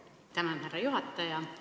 Tänan, härra juhataja!